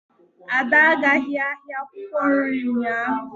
Ada agaghị ahịa akwukwo nri ụnyaahụ.